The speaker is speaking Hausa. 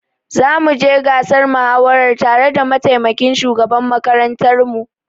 Zamu je gasar muhawarar tare da mataimakin shugaban makarantar mu.